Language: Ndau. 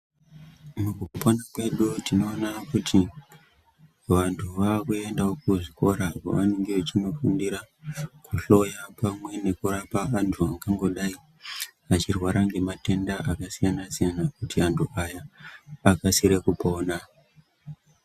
Mukupona kwedu tinoona kuti vantu vakuendawo kuzvikora kwavanenge vechinofundira kuhloya pamwe nekurapa vanhu vangangodai vachirwara ngematenda akasiyana-siyana kuti antu aya akasire kupona.